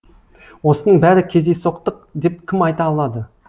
осының бәрі кездейсоқтық деп кім айта алады